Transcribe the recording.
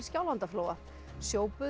Skjálfandaflóa